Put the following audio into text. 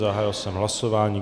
Zahájil jsem hlasování.